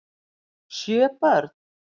Sjö börn